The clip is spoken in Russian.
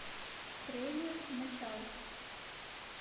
трейлер начало